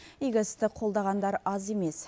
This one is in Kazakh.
игі істі қолдағандар аз емес